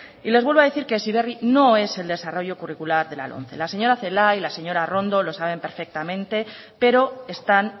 y les vuelvo a decir que heziberri no es el desarrollo curricular de la lomce la señora celaá y la señora arrondo lo saben perfectamente pero están